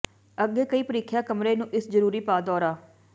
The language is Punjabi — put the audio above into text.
ਅੱਗੇ ਕਈ ਪ੍ਰੀਖਿਆ ਕਮਰੇ ਨੂੰ ਇਸ ਜ਼ਰੂਰੀ ਪਾ ਦੌਰਾ